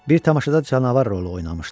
Bir tamaşada canavar rolu oynamışdı.